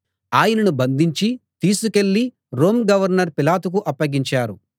ఆయనను బంధించి తీసుకెళ్ళి రోమ్ గవర్నర్ పిలాతుకు అప్పగించారు